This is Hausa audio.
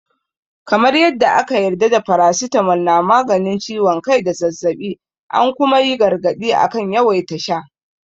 Kamar yadda aka yarda da faracitamol na maganin ciwon kai da zazzaɓi, an kuma yi gargaɗi akan yawaita sha.